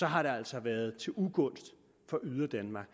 har det altså været til ugunst for yderdanmark